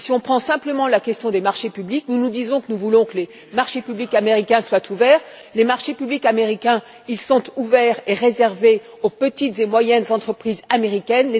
Si l'on prend simplement la question des marchés publics, nous disons que nous voulons que les marchés publics américains soient ouverts. Les marchés publics américains sont réservés aux petites et moyennes entreprises américaines.